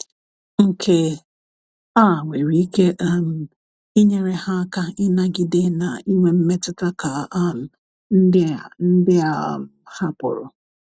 nke a nwere ike um inyere ha aka inagide na inwe mmetuta ka um ndi a ndi a um hapụrụ